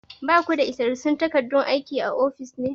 Ba ku da isassun takardun aikin a ofis ne?